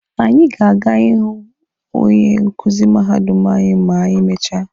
Anyị ga-aga ịhụ onye nkuzi mahadum anyị ma anyị mechaa.